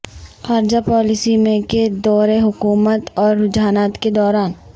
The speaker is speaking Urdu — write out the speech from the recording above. خارجہ پالیسی میں کے دور حکومت اور رجحانات کے دوران